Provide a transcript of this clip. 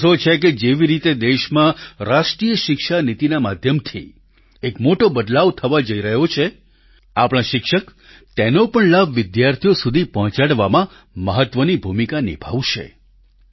મને ભરોસો છે કે જેવી રીતે દેશમાં રાષ્ટ્રીય શિક્ષા નીતિના માધ્યમથી એક મોટો બદલાવ થવા જઈ રહ્યો છે આપણા શિક્ષક તેનો પણ લાભ વિદ્યાર્થીઓ સુધી પહોંચાડવામાં મહત્વની ભૂમિકા નિભાવશે